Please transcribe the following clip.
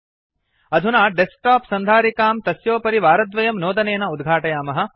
अधुना डेस्कटॉप सन्धारिकां तस्योपरि वारद्वयं नोदनेन उद्घाटयामः